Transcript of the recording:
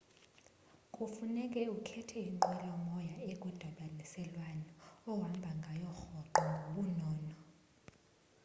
kufuneka ukhethe inqwelo moya ekwindibaniselwano ohamba ngayo rhoqo ngobunono